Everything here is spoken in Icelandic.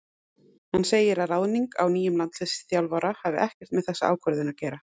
Hann segir að ráðning á nýjum landsliðsþjálfara hafi ekkert með þessa ákvörðun að gera.